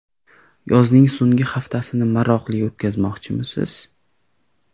Yozning so‘nggi haftasini maroqli o‘tkazmoqchimisiz?